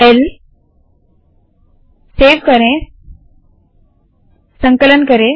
ल सेव करे संकलन करे